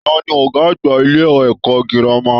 Taní ọgá àgbà ilé ẹ̀kọ́ gírámà?